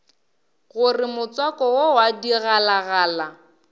gore motswako wo wa digalagala